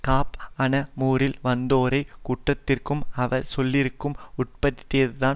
காப் அனமுரில் வந்தோரை குற்றத்திற்கும் அவச் சொல்லிற்கும் உட்படுத்தியதன்